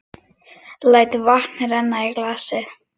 Læt vatn renna í glasið.